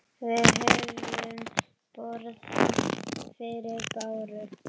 Við höfum borð fyrir báru.